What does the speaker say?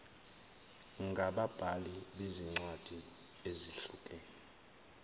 ngababhali bezincwadi ezihlukene